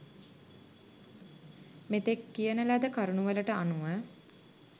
මෙතෙක් කියන ලද කරුණුවලට අනුව